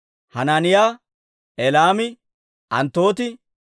Hanaaniyaa, Elaami, Anttootii,